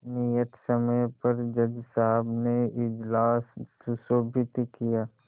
नियत समय पर जज साहब ने इजलास सुशोभित किया